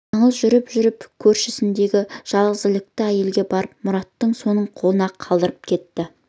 жаңыл жүгіріп жүріп көршісіндегі жалғызілікті әйелге барып мұратты соның қолына қалдырып кетті